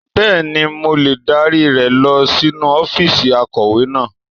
Bẹ́ẹ̀ni, mo lè dárí rẹ lọ sínú ọ́fíìsì akọ̀wé náà.